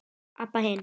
Abba hin.